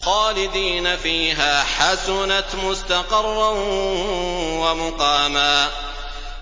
خَالِدِينَ فِيهَا ۚ حَسُنَتْ مُسْتَقَرًّا وَمُقَامًا